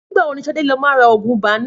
NÌgbà wo ni Shade lo má ra ògùn ibà nà?